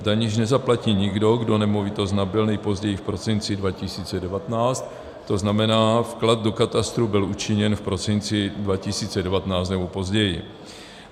Daň již nezaplatí nikdo, kdo nemovitost nabyl nejpozději v prosinci 2019, to znamená, vklad do katastru byl učiněn v prosinci 2019 nebo později.